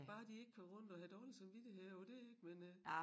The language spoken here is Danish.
Bare de ikke kører rundt og har dårlig samvittighed over det ik men øh